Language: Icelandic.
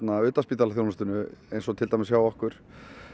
utanspítalaþjónustunni eins og til dæmis hjá okkur